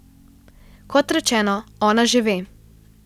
Kot rečeno, ona že ve.